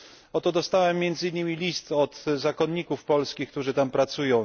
Oto dostałem, między innymi, list od zakonników polskich, którzy tam pracują.